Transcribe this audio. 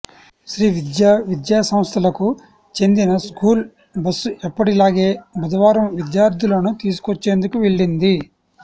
శ్రీవిద్యా విద్యాసంస్థలకు చెందిన school bus ఎప్పటి లాగే బుధవారం విద్యార్థులను తీసుకొచ్చేందుకు వెళ్లింది